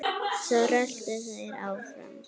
Svo röltu þeir áfram.